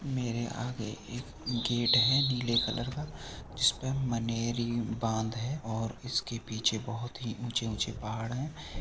मेरे आगे एक गेट हैनीले कलर का जिसपे मनेरी बांध है और इसके पीछे बहोत ही ऊँचे ऊँचे पहाड़ हैं।